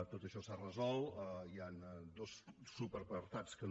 tot això s’ha resolt hi han dos subapartats que no